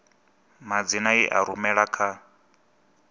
madzina i a rumela kha